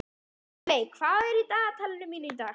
Eyveig, hvað er í dagatalinu mínu í dag?